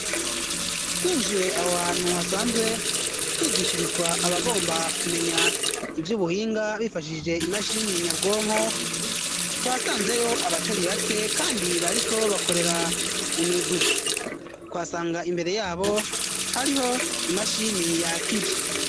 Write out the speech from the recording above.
Twinjiye aho hantu hasanzwe higishirizwa abagomba kumenya ivyubuhinga bifashishije imashini nyabwonko twasanzeyo abatari bake kandi bariko bakorera mu mirwi twasanga imbere yabo hariho imashini yakije.